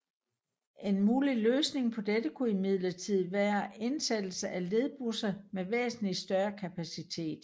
En mulig løsning på det kunne imidlertid være indsættelse af ledbusser med væsentlig større kapacitet